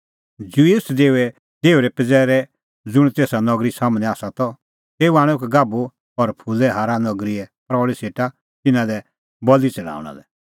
ज्यूस देओए देहुरे पज़ैरै ज़ुंण तेसा नगरी सम्हनै आसा त तेऊ आणअ एक गाभू और फूले हार नगरीए प्रऊल़ी सेटा तिन्नां लै बल़ी च़ढाऊंणा लै